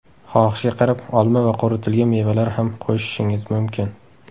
Xohishga qarab olma va quritilgan mevalar ham qo‘shishingiz mumkin.